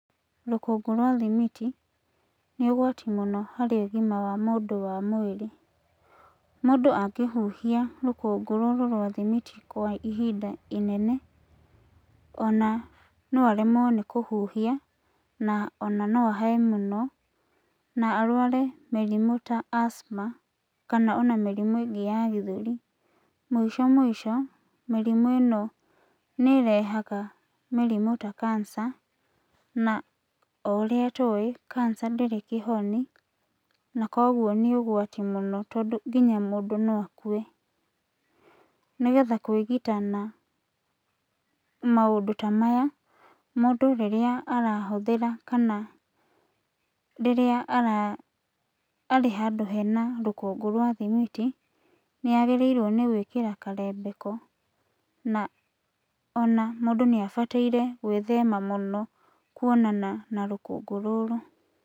Rũkũngũ rwa thimiti nĩ ũgwati mũno harĩ ũgima wa mũndũ wa mwĩrĩ. Mũndũ angĩhuhia rũkũngũ rũrũ rwa thimiti kwa ihinda inene, ona no aremwo nĩ kũhuhia na ahĩe mũno na araware mĩrimũ ta asthma kana ona mĩrimũ ĩngĩ ya gĩthũri. Mũico mũico mĩrimũ ĩno nĩĩrehaga mĩrimũ ta cancer, na o ũrĩa tũĩ cancer ndĩrĩ kĩhoni, na kuoguo nĩ ũgwati mũno tondũ kinya mũndũ no akue. Nĩgetha kwĩgita na maũndũ ta maya mũndũ rĩrĩa arahũthĩra kana rĩrĩa arĩ handũ hena rũkũngũ rwa thimiti, nĩagĩrĩirwo nĩ gwĩkĩra karembeko. Na ona mũndũ nĩabataire gwĩthema mũno kuonana na rũkũngũ rũrũ.